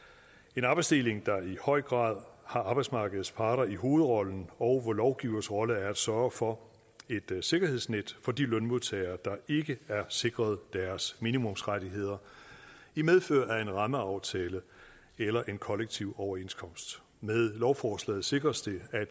en arbejdsdeling der i høj grad har arbejdsmarkedets parter i hovedrollen og hvor lovgivers rolle er at sørge for et sikkerhedsnet for de lønmodtagere der ikke er sikret deres minimumsrettigheder i medfør af en rammeaftale eller en kollektiv overenskomst med lovforslaget sikres det at